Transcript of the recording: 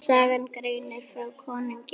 Sagan greinir frá konungi í